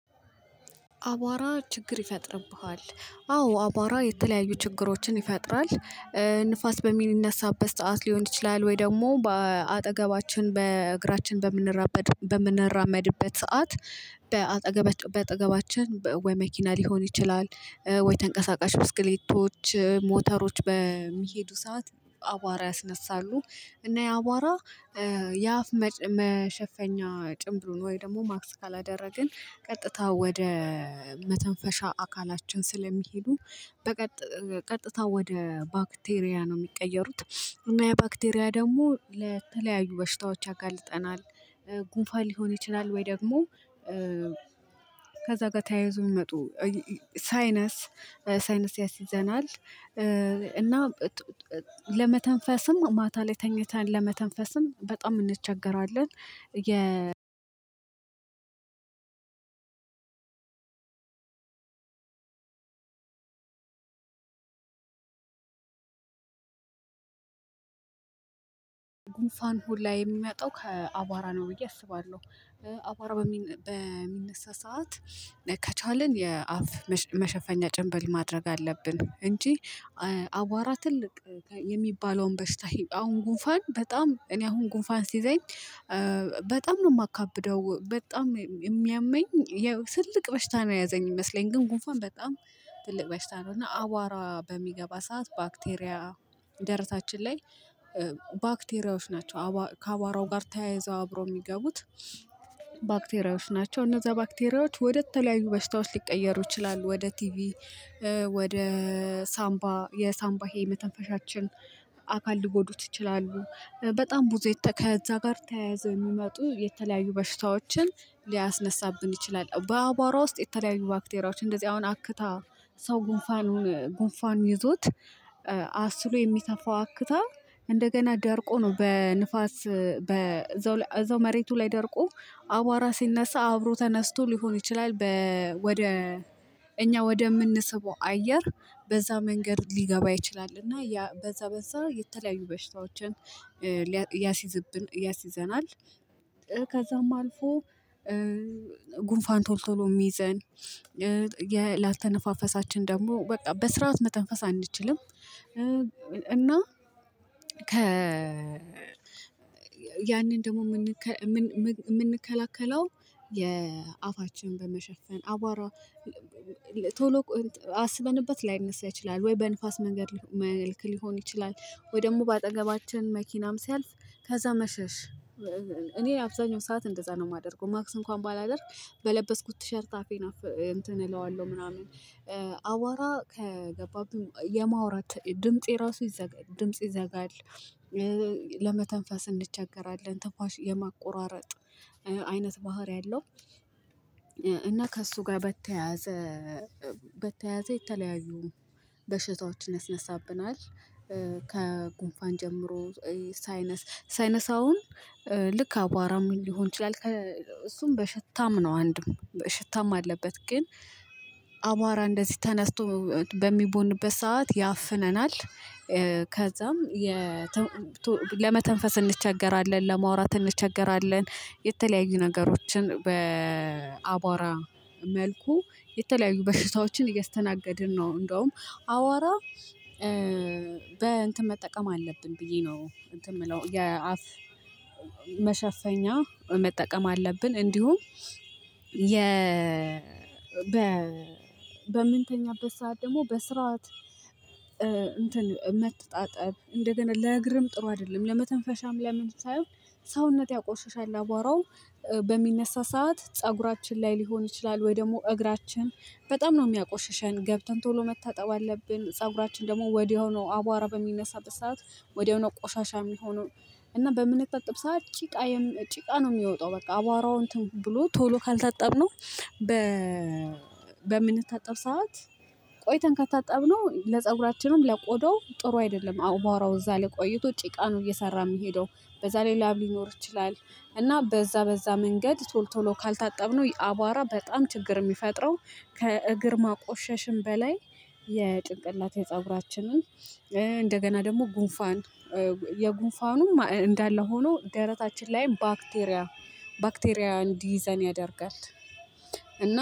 አቧራ ችግር ይፈጥርብሃል አዎ አቧራ የተለያዩ ችግሮችን ይፈጥራል። ንፋስ በሚነሳበት ሰዓት ሊሆን ይችላል ወይ ደግሞ በአጠገባችን በእግራችን በምንራመድ በምንራመድበት ሰዓት። በአጠገባች በአጠገባችን ወይ መኪና ሊሆን ይችላል ወይ ተንቀሳቃሽ ብስክሌቶች ሞተሮች በሚሄዱ ሰዓት አዋራ ያስነሳሉ። እና ያአዋራ የአፍ መሸፈኛ ጭምብሉን ወይ ደግሞ ማክስ ካላደረግን ቀጥታ ወደ መተንፈሻ አካላችን ስለሚሄዱ ቀጥታ ወደ ባክቴሪያ ነው ሚቀየሩት እና ያባክቴሪያ ደግሞ ለተለያዩ በሽታዎች ያጋልጠናል። ጉንፋን ሊሆን ይችላል ወይ ደግሞ ከዛ ጋር ተያይዞ ሚመጡ ሳይነስ ሳይነስ ያስይዘናል። እና ለመተንፈስም ማታ ላይ ተኝተን ለመተንፈስም በጣም እንቸገራለን። የ ጉንፋን ሁላ የሚመጣው ከአቧራ ነው ብዬ አስባለሁ። አቧራ በሚነሳ ሰዓት ከቻልን የአፍ መሸፈኛ ጭንብል ማድረግ አለብን። እንጂ አቧራ ትልቅ የሚባለውን በሽታ አሁን ጉንፋን በጣም እኔ አሁን ጉንፋን ሲይዘኝ። በጣም ነው የማካብደው በጣም የሚያመኝ። ትልቅ በሽታ ነው የያዘኝ ይመስለኛል። ግን ጉንፋን በጣም ትልቅ በሽታ ነው። እና አቧራ በሚገባ ሰዓት ባክቴሪያ ደረታችን ላይ ባክቴሪያዎች ናቸው ከአቧራው ጋር ተያያዘው አብሮ የሚገቡት። ባክቴሪያዎች ናቸው እነዛ ባክቴሪያዎች ወደ ተለያዩ በሽታዎች ሊቀየሩ ይችላሉ። ወደ ቲቪ ወደ ሳምባ የሳምባ ይሄ የመተንፈሻችን አካል ሊጎዱት ይችላሉ። በጣም ብዙ ከዛ ጋር ተያያዘ የሚመጡ የተለያዩ በሽታዎችን ሊያስነሳብን ይችላል። በአቧራ ውስጥ የተለያዩ ባክቴሪያዎች እንደዚህ አሁን አክታ ሰው ጉንፋኑን ጉንፋን ይዞት አስሎ የሚተፋው አክታ እንደገና ደርቆ ነው በንፋስ በዛው እዛው መሬቱ ላይ ደርቆ አቧራ ሲነሳ አብሮ ተነስቶ ሊሆን ይችላል። ወደ እኛ ወደምንስበው አየር በዛ መንገድ ሊገባ ይችላል እና ያ በዛ በዛ የተለያዩ በሽታዎችን ያሲዝብን እያሲዘናል። ከዛም አልፎ ጉንፋን ቶል ተሎ የሚይዘን የላተነፋፈሳችን ደግሞ በቃ በስርዓት መተንፈስ አንችልም። እና ከ ያንን ደግሞ የምንከላከለው የአፋችንን በመሸፈን አቧራ ቶሎ አስበንበት ላይነሳ ይችላል ወይ በንፋስ መንገድ መልክ ሊሆን ይችላል። ወይ ደግሞ በአጠገባችን መኪናም ሲያልፍ ከዛ መሸሽ እኔ አብዛኛው ሰዓት እንደዛ ነው የማደርገው። ማክስ እንኳን ባላደርግ በለበስኩት ቲሸርት አፌን እንትን እለዋለሁ ምናምን አቧራ ከገባብኝ የማውራት ድምፄ የራሱ ድምጽ ይዘጋል። ለመተንፈስ እንቸገራለን ትንፋሽ የመቆራረጥ አይነት ባህሪ አለው። እና ከእሱ ጋር በተያያዘ በተያያዘ የተለያዩ በሽታዎችን ያስነሳብናል። ከጉንፋን ጀምሮ ሳይነሰ ሳይነስ አሁን ልክ አቧራም ሊሆን ይችላል። እሱም በሽታም ነው አንድም ሽታም አለበት። ግን አቧራ እንደዚህ ተነስቶ በሚቦንበት ሰዓት ያፍነናል። ከዛም ለመተንፈስ እንቸገራለን ለማውራት እንቸገራለን የተለያዩ ነገሮችን በአቧራ መልኩ የተለያዩ በሽታዎችን እያስተናገድን ነው። እንደውም አዋራ በእንትን መጠቀም አለብን ብዬ ነው እንትን ምለው የአፍ መሸፈኛ መጠቀም አለብን። እንዲሁም የ በ በምንተኛበት ሰዓት ደግሞ በስርዓት እንትን መተጣጠብ እንደገና ለእግርም ጥሩ አይደለም ለመተንፈሻም ለምን ሳይሆን ሰውነት ያቆሽሻል። አቧራው በሚነሳ ሰዓት ፀጉራችን ላይ ሊሆን ይችላል ወይ ደግሞ እግራችን በጣም ነው የሚያቆሽሸን ገብተን ቶሎ መታጠብ አለብን። ፀጉራችን ደግሞ ወዲያው ነው አቧራ በሚነሳበት ሰዓት ወዲያው ነው ቆሻሻ የሚሆነው። እና በምንታጠብ ሰዓት ጭቃ ጭቃ ነው የሚወጣው። በቃ አቧራው እንትን ብሎ ቶሎ ካልታጠብነው በ ምንታጠብ ሰዓት ቆይተን ከታጠብነው ለፀጉራችንም ለቆዳው ጥሩ አይደለም። አዎ አቧራው እዛ ላይ ቆይቶ ጭቃ ነው እየሰራ የሚሄደው። በዛ ላይ ላብ ሊኖር ይችላል። እና በዛ በዛ መንገድ ቶል ቶሎ ካልታጠብነው አቧራ በጣም ችግር የሚፈጥረው። ከእግር ማቆሸሽም በላይ የጭንቅላት የፀጉራችንን እንደገና ደግሞ ጉንፋን የጉንፋኑ እንዳለ ሆኖ ደረታችን ላይም ባክቴሪያ ባክቴሪያ እንዲይዘን ያደርጋል።